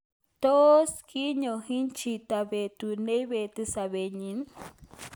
Tos kiyon hin chito petu neipeti sopet nyi?